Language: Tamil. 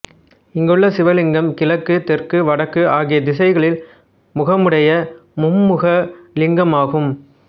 இங்குள்ள சிவலிங்கம் கிழக்கு தெற்கு வடக்கு ஆகிய திசைகளில் முகமுடைய மும்முகலிங்கமாகும்